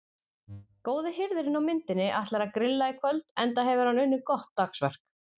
Góði hirðirinn á myndinni ætlar að grilla í kvöld enda hefur hann unnið gott dagsverk.